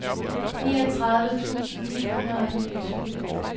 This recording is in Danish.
niogtredive tusind ni hundrede og niogtyve